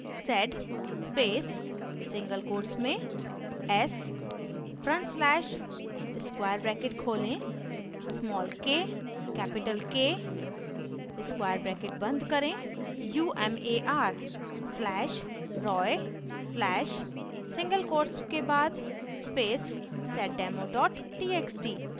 sed space single quotes में s front slash/square bracket खोलें small k capital k square bracket बंद करें umar slash roy slash single quotes के बाद space seddemo txt